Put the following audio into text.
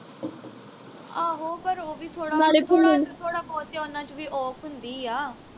ਆਹੋ ਪਰ ਉਹ ਵੀ ਥੋੜਾ ਥੋੜਾ ਥੋੜਾ ਉਨ੍ਹਾਂ ਵਿਚ ਵੀ ਔਖ ਹੁੰਦੀ ਆ